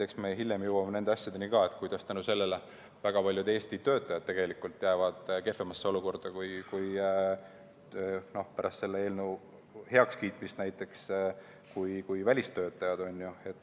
Eks me hiljem jõuame nende asjadeni ka, kuidas tänu sellele väga paljud Eesti töötajad jäävad pärast selle eelnõu heakskiitmist kehvemasse olukorda kui välistöötajad.